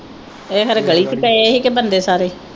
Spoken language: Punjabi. ਇਹ ਹਰੇ ਗਲੀ ਵਿਚ ਪਏ ਹੀ ਕੇ ਬੰਦੇ ਸਾਰੇ